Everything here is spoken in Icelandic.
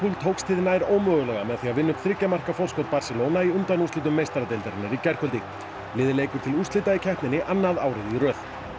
tókst hið ómögulega með því að vinna upp þriggja marka forskot Barcelona í undanúrslitum meistaradeildarinnar í gærkvöldi liðið leikur til úrslita í keppninni annað árið í röð